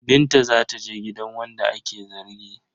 Binta za ta je gidan wanda ake zargi.